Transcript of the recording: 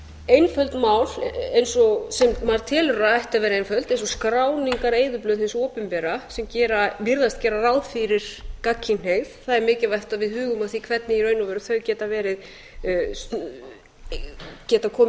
einföld mál sem maður telur að ættu að vera einföld eins og skráningareyðublöð hins opinbera sem virðast gera ráð fyrir gagnkynhneigð það er mikilvægt að við hugum að því hvernig þau í raun og veru geta komið